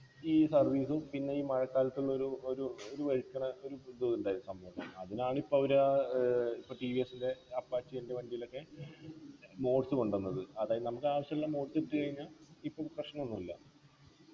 ഈ service ഉം പിന്നെ ഈ മഴക്കാലത്ത് ന്നൊരു ഒരു ഒരു വഴുക്കണ ഒരു ഇതുണ്ടായി സംഭവണ്ടായി അതിനാണിപ്പോ അവര് ആഹ് ഏർ ഇപ്പോ ടി വി എസ്ൻ്റെ apache ൻ്റെ വണ്ടീലൊക്കെ modes കൊണ്ടന്നത് അതായത് നമുക്കാവശ്യമുള്ള modes ഇട്ടു കഴിഞ്ഞാ ഇപ്പൊ പ്രശ്നഒന്നും ഇല്ല